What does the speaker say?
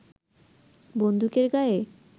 বন্দুকের গায়ে